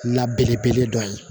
La belebele dɔ ye